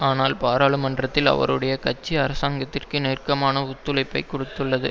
ஆனால் பாராளுமன்றத்தில் அவருடைய கட்சி அரசாங்கத்திற்கு நெருக்கமான ஒத்துழைப்பை கொடுத்துள்ளது